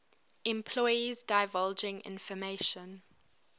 employees divulging information